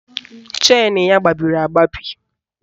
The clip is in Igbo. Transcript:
Chenu ya gbabiri agbabi